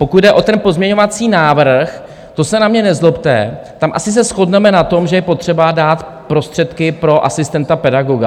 Pokud jde o ten pozměňovací návrh, to se na mě nezlobte, tam asi se shodneme na tom, že je potřeba dát prostředky pro asistenta pedagoga.